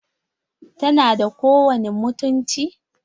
Tana da kowani mutunci?